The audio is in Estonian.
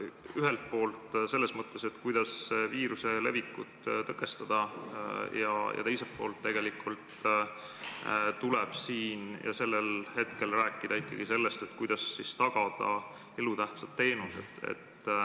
Ühelt poolt tuleb rääkida sellest, kuidas viiruse levikut tõkestada, aga teiselt poolt ikkagi ka sellest, kuidas tagada elutähtsad teenused.